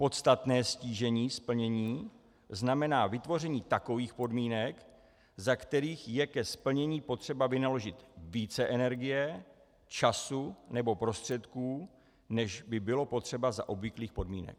Podstatné ztížení splnění znamená vytvoření takových podmínek, za kterých je ke splnění potřeba vynaložit více energie, času nebo prostředků, než by bylo potřeba za obvyklých podmínek.